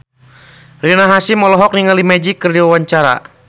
Rina Hasyim olohok ningali Magic keur diwawancara